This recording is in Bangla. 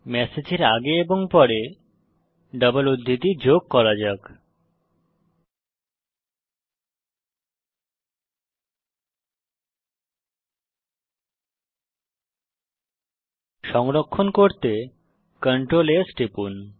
ম্যাসেজের আগে এবং পরে ডবল উদ্ধৃতি যোগ করা যাক সংরক্ষণ করতে Ctrl S টিপুন